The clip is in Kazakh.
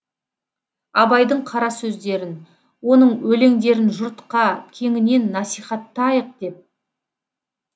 абайдың қара сөздерін оның өлеңдерін жұртқа кеңінен насихаттайық деп